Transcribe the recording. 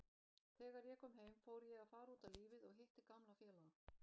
Þegar ég kom heim fór ég að fara út á lífið og hitti gamla félaga.